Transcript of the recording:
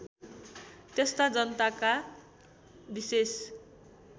त्यस्ता जनताका विेशेष